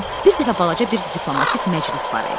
Bir dəfə balaca bir diplomatik məclis var idi.